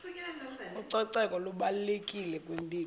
ucoceko lubalulekile kwimpilo